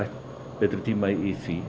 betri tíma í því